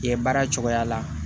Yen baara cogoya la